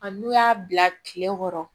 A n'u y'a bila kile kɔrɔ